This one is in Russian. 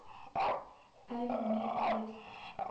альметьевск